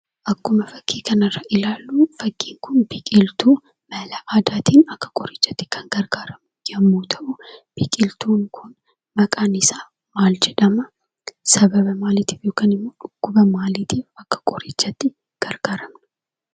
Akkuma fakkii kanarratti ilaallu fakkiin kun biqiltu dhalaa namatiif akka qorichatti kan gargaaru yemmu ta'u biqiltuun kun maqaan isaa maal jedhama?